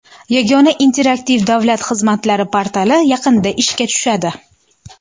Yagona interaktiv davlat xizmatlari portali yaqinda ishga tushadi.